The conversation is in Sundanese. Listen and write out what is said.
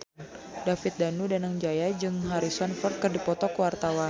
David Danu Danangjaya jeung Harrison Ford keur dipoto ku wartawan